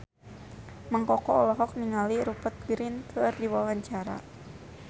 Mang Koko olohok ningali Rupert Grin keur diwawancara